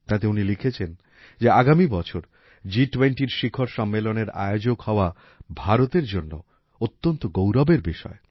এতে উনি লিখেছেন যে আগামী বছর জিটুয়েন্টির শিখর সম্মেলনের আয়োজক হওয়া ভারতের জন্য অত্যন্ত গৌরবের বিষয়